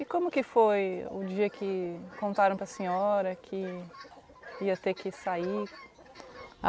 E como que foi o dia que contaram para a senhora que ia ter que sair?